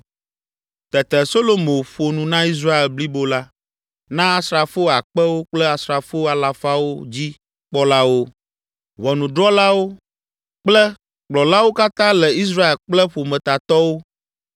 Tete Solomo ƒo nu na Israel blibo la, na asrafo akpewo kple asrafo alafawo dzi kpɔlawo, ʋɔnudrɔ̃lawo kple kplɔlawo katã le Israel kple ƒometatɔwo